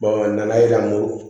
a nana yira n ko